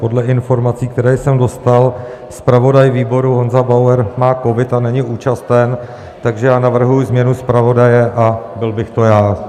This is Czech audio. Podle informací, které jsem dostal, zpravodaj výboru Honza Bauer má covid a není účasten, takže já navrhuji změnu zpravodaje a byl bych to já.